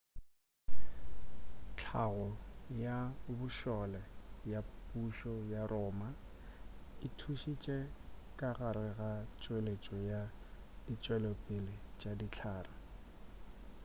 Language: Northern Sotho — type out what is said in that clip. hlago ya bošole ya pušo ya roma e thušitše ka gare ga tšweletšo ya ditšwelopele tša dihlare